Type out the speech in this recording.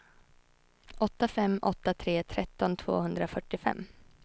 åtta fem åtta tre tretton tvåhundrafyrtiofem